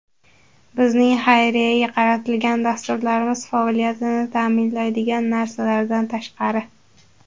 Bizning xayriyaga qaratilgan dasturlarimiz faoliyatini ta’minlaydigan narsalardan tashqari.